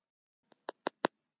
Liggur þér eitthvað á?